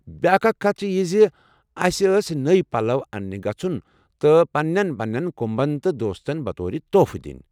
بیٚاکھ اکھ کتھ چھِ یہِ زِ اَسہِ ٲس نوٚو پلو اننہِ گژُھن تہٕ پنٛنٮ۪ن پنٛنٮ۪ن كُمبس تہٕ دوستن بطور تحفہٕ دِنۍ۔